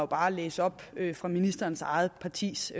bare at læse op fra ministerens eget partis